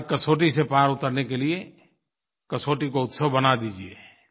हर कसौटी से पार उतरने के लिये कसौटी को उत्सव बना दीजिए